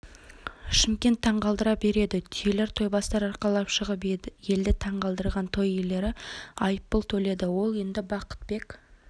шымкент таңғалдыра біледі түйелер тойбастар арқалап шығып елді таңғалдырған той иелері айыппұл төледі ол енді бақытбек